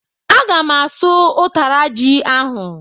Agam asụ utara ji ahú.